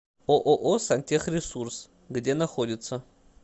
ооо сантехресурс где находится